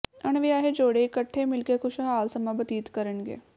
ਅਣਵਿਆਹੇ ਜੋੜੇ ਇਕੱਠੇ ਮਿਲ ਕੇ ਖੁਸ਼ਹਾਲ ਸਮਾਂ ਬਤੀਤ ਕਰਨਗੇ